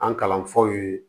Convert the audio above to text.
An kalanfaw ye